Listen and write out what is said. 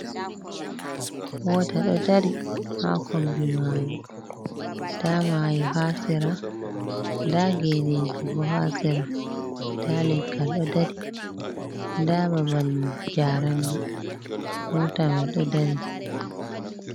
Mota ɗo dari ha kombi mayo, nda mayo ha sera, nda geneji bo ha sera, nda leggal ɗo dari, nda babal jarandi, mota mai ɗo dari.